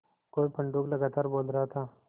कोई पंडूक लगातार बोल रहा था